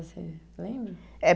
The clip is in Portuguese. Você lembra? Eh